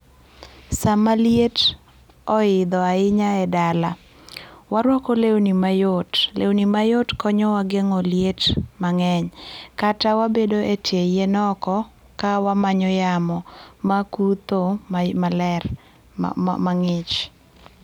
Sama liet oidho ahinya e dala warwako lewni mayot, lewni mayot konyo wa gengo liet mangeny, kata wabedo e tie yien oko ka wamanyo yamo makutho maler, ma mang'ich